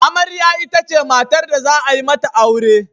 Amarya itace matar da za a yi mata aure.